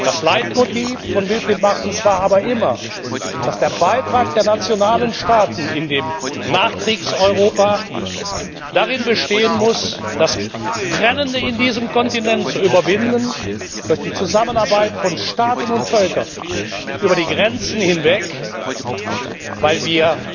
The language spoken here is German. Das Leitmotiv von Wilfried Martens war aber immer, dass der Beitrag der nationalen Staaten im Nachkriegseuropa darin bestehen muss, das Trennende in diesem Kontinent zu überwinden durch die Zusammenarbeit von Staaten und Völkern über die Grenzen hinweg, weil wir